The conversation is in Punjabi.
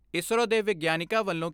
ਇਸਰੋ ਦੇ ਵਿਗਿਆਨੀਆਂ ਵੱਲੋਂ